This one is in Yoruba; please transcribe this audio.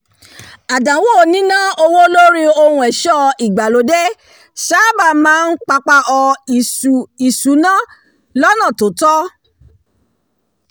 àdánwò níná owó lórí ohun ẹ̀ṣọ́ ìgbàlódé máa ń sáábà papaọ̀ ìṣù ìṣúná lọ́nà tó tọ́